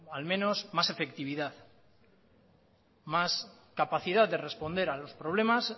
al menos más efectividad más capacidad de responder a los problemas